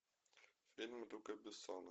фильм люка бессона